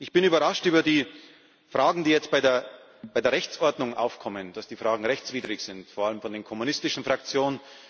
Ich bin überrascht über die Fragen, die jetzt bei der Rechtsordnung aufkommen, dass die Fragen rechtswidrig sind, vor allem von den kommunistischen Fraktionen.